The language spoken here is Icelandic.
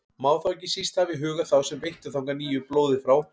Má þá ekki síst hafa í huga þá sem veittu þangað nýju blóði frá